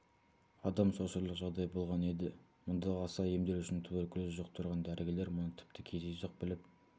адам шошырлық жағдай болған еді мұндағы аса емделушінің туберкулез жұқтырған дәрігерлер мұны тіпті кездейсоқ біліп